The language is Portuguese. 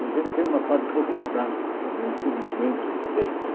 E a gente tem uma parte burocrática também, infelizmente ela tem, né?